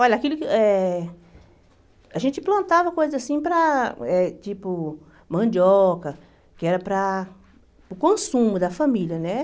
Olha, aquilo que eh... A gente plantava coisa assim para, eh tipo, mandioca, que era para o consumo da família, né?